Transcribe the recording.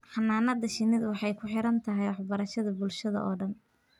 Xannaanada shinnidu waxay ku xidhan tahay waxbarashada bulshada oo dhan.